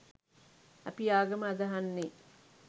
අපි ආගම අදහන්නේ